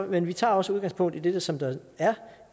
men vi tager også udgangspunkt i det som der er